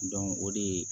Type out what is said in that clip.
o de ye